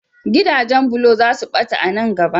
Gidajen bulo za su ɓata a nan gaba.